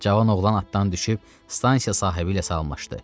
Cavan oğlan atdan düşüb stansiya sahibi ilə salamlaşdı.